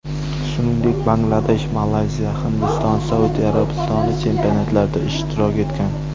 Shuningdek, Bangladesh, Malayziya, Hindiston, Saudiya Arabistoni chempionatlarida ishtirok etgan.